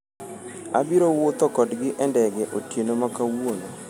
Abiro wuotho kodgi(e ndege) otieno ma kawuono